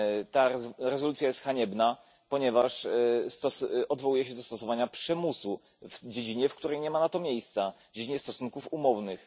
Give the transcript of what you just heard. Ta rezolucja jest haniebna, ponieważ odwołuje się do stosowania przymusu w dziedzinie, w której nie ma na to miejsca, w dziedzinie stosunków umownych.